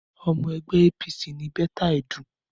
Ọmọ ẹgbẹ́ APC ni Betta Edu.